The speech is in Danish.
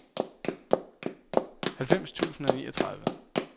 halvfems tusind og niogtredive